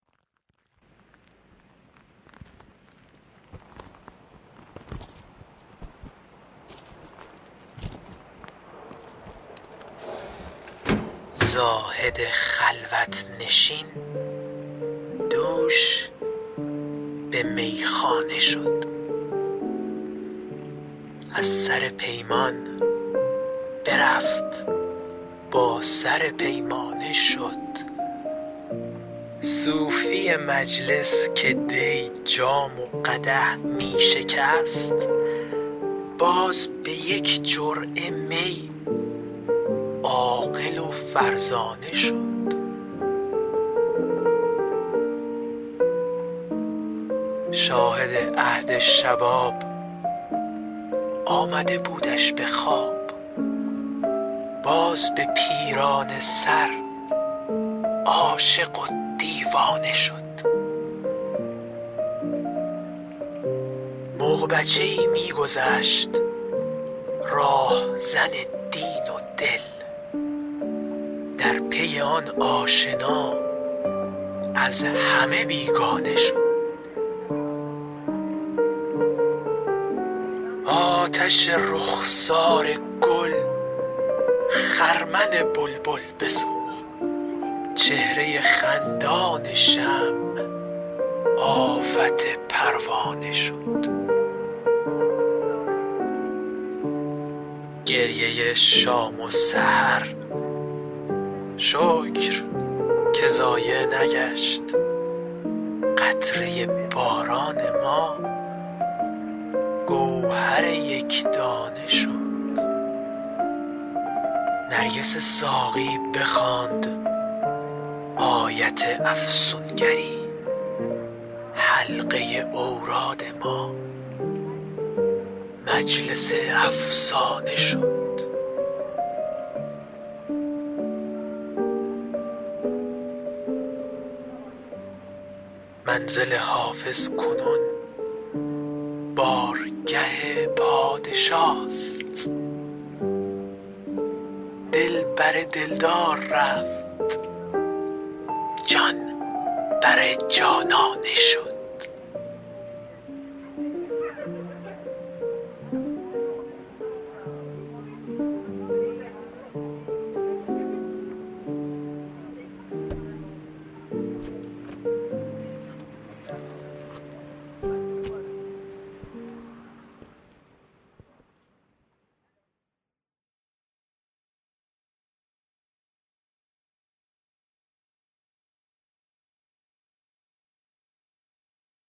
زاهد خلوت نشین دوش به میخانه شد از سر پیمان برفت با سر پیمانه شد صوفی مجلس که دی جام و قدح می شکست باز به یک جرعه می عاقل و فرزانه شد شاهد عهد شباب آمده بودش به خواب باز به پیرانه سر عاشق و دیوانه شد مغ بچه ای می گذشت راهزن دین و دل در پی آن آشنا از همه بیگانه شد آتش رخسار گل خرمن بلبل بسوخت چهره خندان شمع آفت پروانه شد گریه شام و سحر شکر که ضایع نگشت قطره باران ما گوهر یک دانه شد نرگس ساقی بخواند آیت افسون گری حلقه اوراد ما مجلس افسانه شد منزل حافظ کنون بارگه پادشاست دل بر دل دار رفت جان بر جانانه شد